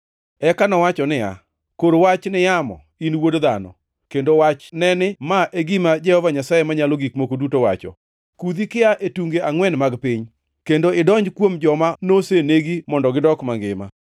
Eka nowacho niya, “Kor wach ni yamo, in wuod dhano, kendo wachne ni, Ma e gima Jehova Nyasaye Manyalo Gik Moko Duto wacho: Kudhi kia e tunge angʼwen mag piny, kendo idonj kuom joma nosenegi mondo gidok mangima.”